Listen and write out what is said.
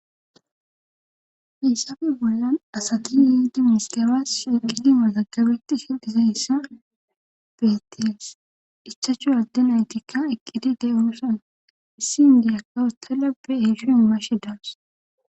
hisafe bolan asati yiidi miskabas shiqidi matagabetti hidhisayssa beeties ichachu adden aytikka eqqidi de'unosan issi indiyakka ustala be hisshi imashe daas.